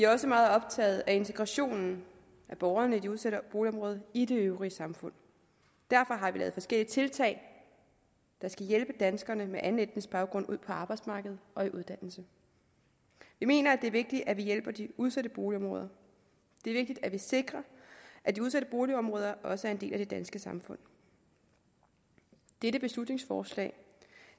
også meget optaget af integrationen af borgerne i de udsatte boligområder i det øvrige samfund derfor har vi lavet forskellige tiltag der skal hjælpe danskere med anden etnisk baggrund ud på arbejdsmarkedet og i uddannelse vi mener at det er vigtigt at vi hjælper de udsatte boligområder det er vigtigt at vi sikrer at de udsatte boligområder også er en del af det danske samfund dette beslutningsforslag